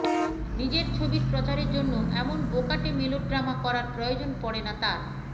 নিজের ছবির প্রচারের জন্য এমন বোকাটে মেলোড্রামা করার প্রয়োজন পড়ে না তাঁর